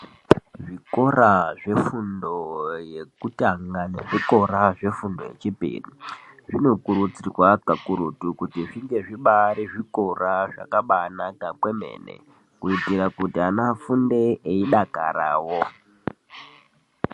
Zvikora zvefundo yekutanga nezvikora zvefundo yechipiri zvinokurudzirwa kakurutu kuti zvinge zvibaari zvikora zvakanaka kwemene kuitira kuti vana vafunde veidakarawo.